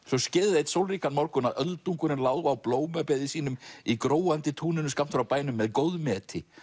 svo skeði það einn sólríkan morgun að öldungurinn lá á blómabeði sínu í gróandi túninu skammt frá bænum með góðmeti